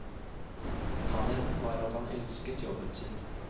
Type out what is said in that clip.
Sannheten var at han elsket jobben sin.